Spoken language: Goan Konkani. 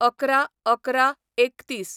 ११/११/३१